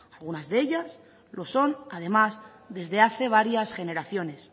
algunas de ellas lo son además desde hace varias generaciones